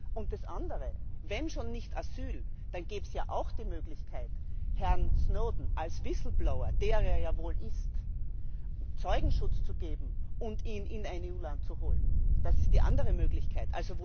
Und das andere Wenn schon nicht Asyl, dann gäbe es ja auch die Möglichkeit, Herrn Snowden als Whistleblower, der er ja wohl ist, Zeugenschutz zu geben und ihn in ein EU Land zu holen. Das ist die andere Möglichkeit.